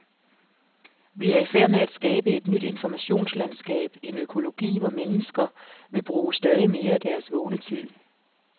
Vi er i færd med at skabe et nyt informationslandskab, en økologi, hvor mennesker vil bruge stadig mere af deres vågne tid.